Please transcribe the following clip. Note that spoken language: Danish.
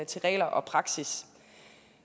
til regler og praksis